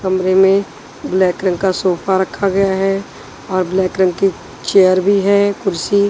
कमरे में ब्लैक रंग का सोफा रखा गया है और ब्लैक रंग की चेयर भी है कुर्सी।